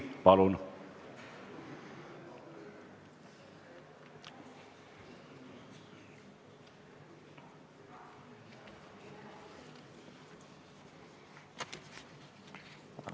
Palun!